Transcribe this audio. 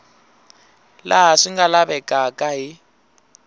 laha swi nga lavekaka hi